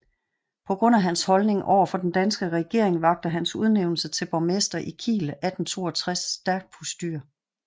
På grund af hans holdning over for den danske regering vakte hans udnævnelse til borgmester i Kiel 1862 stærkt postyr